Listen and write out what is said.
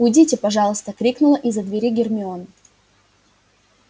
уйдите пожалуйста крикнула из-за двери гермиона